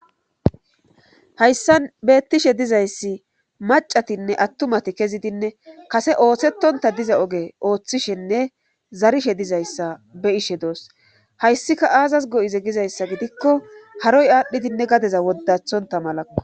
hayssan beettishe dizayssi macatinne attumati kezidinne kase ooththetonta diza oge ooththishenne zarishe dizayssa be ishe doos hayssika aazas go7ize gizayssa gidikko haroy aadhdhidinne gadeza woddathonta malao